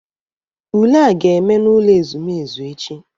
Ule a ga-eme n'ụlọ ezumezu echi